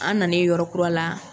An nanen yɔrɔ kura la